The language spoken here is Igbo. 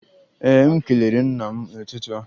Ee, m kelere nna m n'ụtụtụ a